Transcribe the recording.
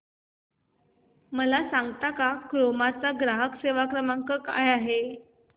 मला सांगता का क्रोमा चा ग्राहक सेवा क्रमांक काय आहे